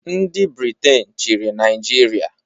Ndị Brịtish chiri Naijịria